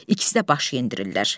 İkisi də baş endirirlər.